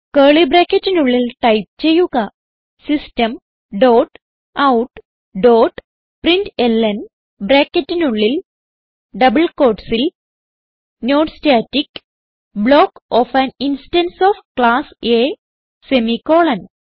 curly ബ്രാക്കറ്റിനുള്ളിൽ type ചെയ്യുക system dot out dot println ബ്രാക്കറ്റിനുള്ളിൽ ഡബിൾ quotesസിൽ non static block of an instance of class A semicolon